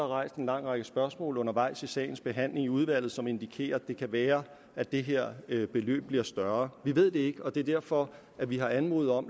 rejst en lang række spørgsmål undervejs i sagens behandling i udvalget som indikerer at det kan være at det her beløb bliver større vi ved det ikke og det er derfor vi har anmodet om